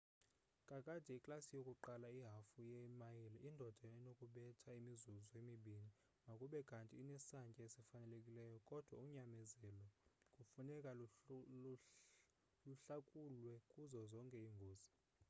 kakade iklasi yokuqala ihafu ye mayile indoda enokubetha imizuzu emibini makube kanti inesantya esifanelekileyo kodwa unyamezelo kufuneka luhlakulwe kuzo zonke iingozi